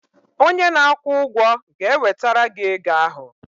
onye na-akwụ ụgwọ ga-ewetara gị ego ahụ